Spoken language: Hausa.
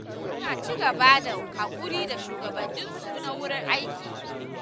Suna ci gaba da haƙuri da shugabanninsu na wurin aiki.